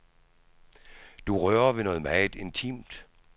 Du rører ved noget meget intimt.